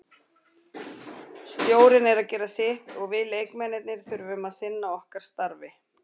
Stjórinn er að gera sitt og við leikmennirnir þurfum að sinna okkar starfi.